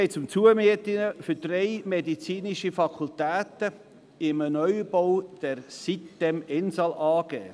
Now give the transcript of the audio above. Nun geht es um die Zumiete für drei medizinische Fakultäten in einem Neubau der sitem-insel AG.